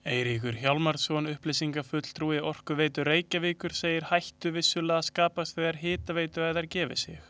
Eiríkur Hjálmarsson, upplýsingafulltrúi Orkuveitu Reykjavíkur, segir hættu vissulega skapast þegar hitaveituæðar gefi sig.